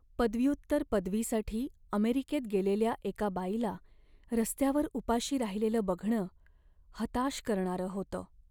पदव्युत्तर पदवीसाठी अमेरिकेत गेलेल्या एका बाईला रस्त्यावर उपाशी राहिलेलं बघणं हताश करणारं होतं.